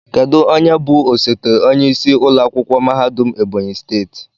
Kedu onye bụ osote onyeisi ụlọ akwụkwọ mahadum Ebonyi steeti?